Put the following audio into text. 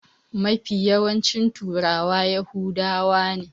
Mafi yawancin turawa yahudawa ne.